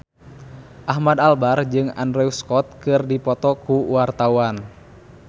Ahmad Albar jeung Andrew Scott keur dipoto ku wartawan